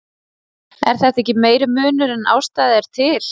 Er þetta ekki meiri munur en ástæða er til?